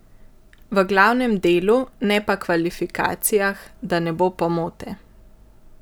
V glavnem delu, ne pa kvalifikacijah, da ne bo pomote.